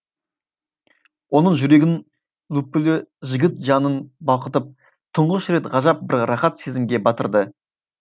оның жүрегінің лүпілі жігіт жанын балқытып тұңғыш рет ғажап бір рақат сезімге батырды